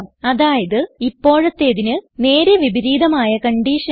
അതായത് ഇപ്പോഴത്തേതിന് നേരെ വിപരീതമായ കൺഡിഷൻ